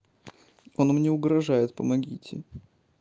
он мне угрожает помогите